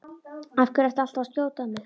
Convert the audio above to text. Af hverju ertu alltaf að skjóta á mig?